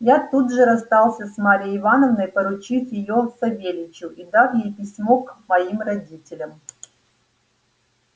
я тут же расстался с марьей ивановной поручив её савельичу и дав ей письмо к моим родителям